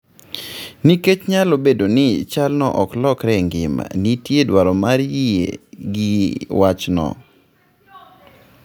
Nikech nyalo bedo ni chalno ok lokore e ngima, nitie dwaro mar yie gi wachno.